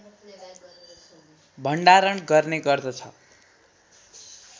भण्डारण गर्ने गर्दछ